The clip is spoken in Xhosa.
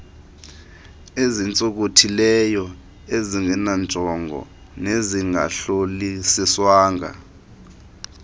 ezintsonkothileyo ezingenanjongo nezingahlolisiswanga